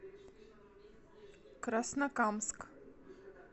краснокамск